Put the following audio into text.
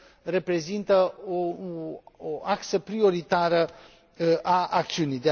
reprezintă o axă prioritară a acțiunii.